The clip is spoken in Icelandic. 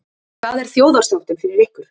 Hvað er þjóðarsáttin fyrir ykkur?